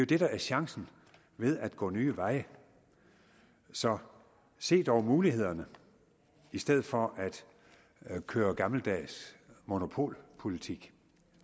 det der er chancen ved at gå nye veje så se dog mulighederne i stedet for at køre gammeldags monopolpolitik